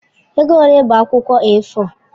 Ego ole bụ akwụkwọ A4?